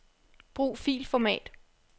Brug filformat.